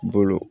Bolo